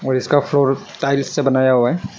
और इसका floor tiles से बनाया हुआ है।